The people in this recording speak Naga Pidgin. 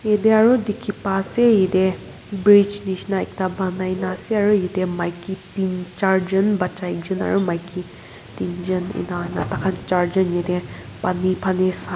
yetey aro dikhipa ase yetey bridge nishina ekta banai na ase aro yetey maiki tin charjun bacha ekjun aro maiki tinjun ena huina taikhan charjun yetey pani phane sa --